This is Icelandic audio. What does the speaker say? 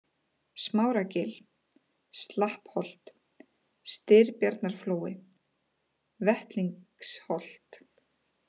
Smáragil, Slappholt, Styrbjarnarflói, Vettlingsholt